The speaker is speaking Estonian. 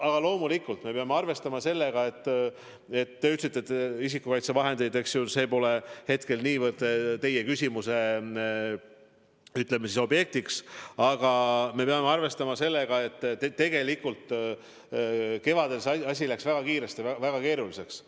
Aga loomulikult me peame arvestama sellega – te küll ütlesite, et isikukaitsevahendid pole niivõrd teie küsimuse objektiks –, et tegelikult kevadel asi läks väga kiiresti väga keeruliseks.